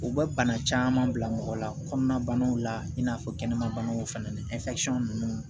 U bɛ bana caman bila mɔgɔ la kɔnɔnabanaw la i n'a fɔ kɛnɛma banaw fana ni ninnu